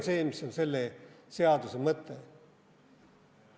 See on selle seaduse mõte.